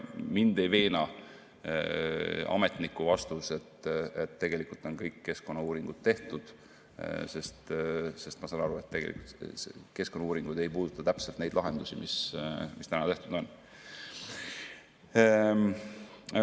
Mind ei veena ametniku vastus, et tegelikult on kõik keskkonnauuringud tehtud, sest ma saan aru, et keskkonnauuringud ei puuduta konkreetselt neid lahendusi, mis täna tehtud on.